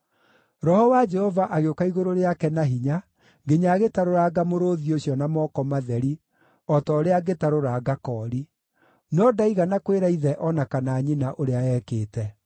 Roho wa Jehova agĩũka igũrũ rĩake na hinya nginya agĩtarũranga mũrũũthi ũcio na moko matheri o ta ũrĩa angĩtarũranga koori. No ndaigana kwĩra ithe o na kana nyina ũrĩa ekĩte.